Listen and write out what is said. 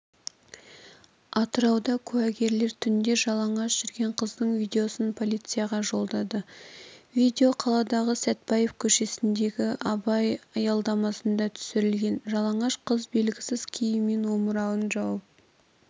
атырауда куәгерлер түнде жалаңаш жүрген қыздың видеосын полицияға жолдады видео қаладағы сәтбаев көшесіндегі абай аялдамасында түсірілген жалаңаш қыз белгісіз киіммен омырауын жауып